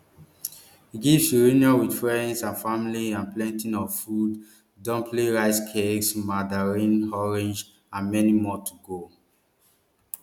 gifts reunions wit friends and family and plenty of food dumplings rice cakes mandarin oranges and many more go dey